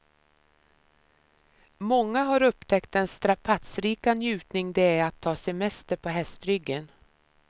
Många har upptäckt den strapatsrika njutning det är att ta semester på hästryggen.